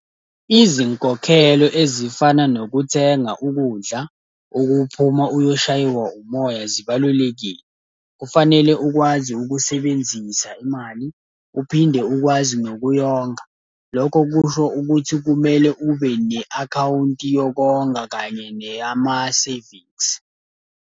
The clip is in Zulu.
Izinkokhelo ezifana nokuthenga ukudla, ukuphuma uyoshaywa umoya zibalulekile. Kufanele ukwazi ukusebenzisa imali, uphinde ukwazi nokuyonga. Lokho kusho ukuthi kumele ube ne-akhawunti yokonga kanye neyama-savings.